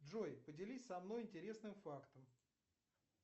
джой поделись со мной интересным фактом